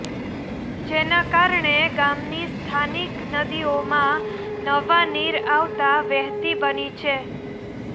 જેના કારણે ગામની સ્થાનિક નદીઓમાં નવા નીર આવતા વહેતી બની છે